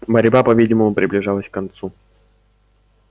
борьба по видимому приближалась к концу